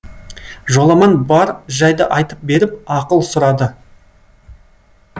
жоламан бар жайды айтып беріп ақыл сұрады